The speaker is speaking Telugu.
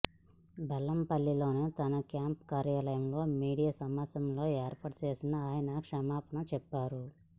బెల్లంపల్లిలోని తన క్యాంపు కార్యాలయంలో మీడియా సమావేశం ఏర్పాటు చేసి ఆయన క్షమాపణలు చెప్పారు